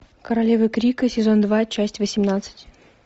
королевы крика сезон два часть восемнадцать